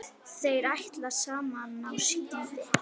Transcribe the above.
Þeir ætla saman á skíði.